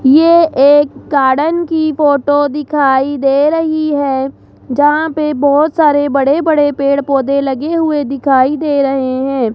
ये एक गार्डन की फोटो दिखाई दे रही है जहां पे बहोत सारे बड़े बड़े पेड़ पौधे लगे हुए दिखाई दे रहे हैं।